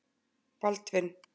Baldvin